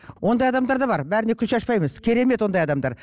ондай адамдар да бар бәріне күл шашпаймыз керемет ондай адамдар